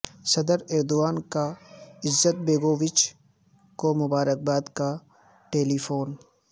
صدر ایردوان کا Izetbegovic کو مبارکباد کا ٹیلی فون